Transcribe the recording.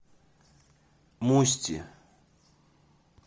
мусти